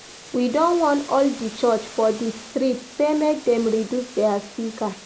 We don warn all di church for dis street sey make dem reduce their speaker.